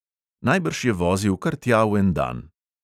Najbrž je vozil kar tja v en dan.